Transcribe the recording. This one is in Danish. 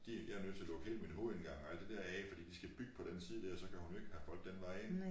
De jeg er nødt til at lukke hele min hovedindgang og alt det der af fordi de skal bygge på den side dér så kan hun jo ikke have folk den vej ind